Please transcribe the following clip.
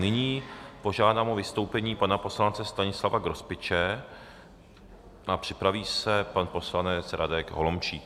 Nyní požádám o vystoupení pana poslance Stanislava Grospiče a připraví se pan poslanec Radek Holomčík.